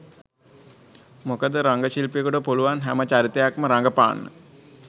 මොකද රංගන ශිල්පියකුට පුළුවන් නම් හැම චරිතයක්ම රඟපාන්න